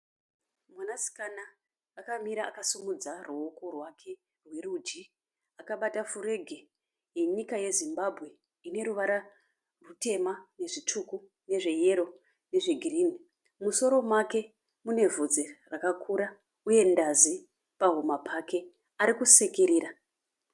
Mwanasikana akamira akasimudza ruoko rwake rwerudyi. Akabata furegi yenyika yeZimbabwe ine ruvara rutema nezvitsvuku nezve yero nezvegirini. Musoro make mune vhudzi rakakura uye ndazi pahuma pake. Ari kusekerera.